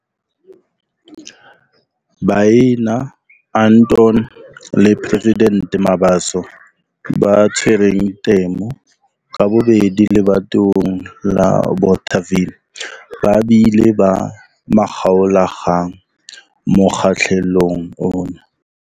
Baena, Anton le President Mabaso ba tshwereng temo ka bobedi lebatoweng la Bothaville ba bile ba makgaolakgang mokgahlelong ona.